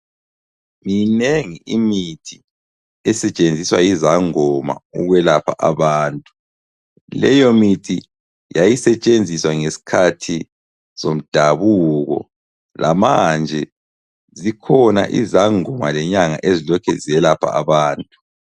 Minengi imithi esetshenziswa yizangoma ukwelapha abantu, leyo mithi yayisetshenziswa ngesikhathi somdabuko lamanje zikhona izangoma lenyanga ezilokhe ziyelapha abantu.